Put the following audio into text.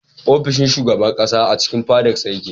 Ofishin shugaban ƙasa a cikin fadarsa yake.